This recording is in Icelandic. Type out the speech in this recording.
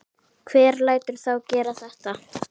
Hver lætur þá gera þetta?